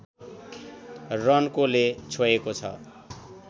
रन्कोले छोएको छ